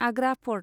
Agra fort